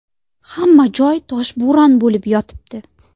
Hamma joy toshbo‘ron bo‘lib yotibdi.